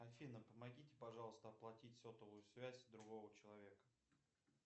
афина помогите пожалуйста оплатить сотовую связь другого человека